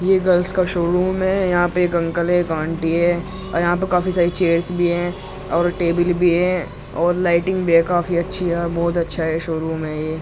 यह गर्ल्स का showroom है यहा पे एक अंकल एक आंटी है और यहा पर काफी सारी चेयर्स भी है और टेबल भी है और लाइटिंग भी है काफी अच्छी है बहुत अच्छा है यह शो रूम है ये।